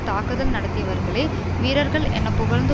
தாக்குதல் நடத்தியவர்களை வீரர்கள் என புகழ்ந்து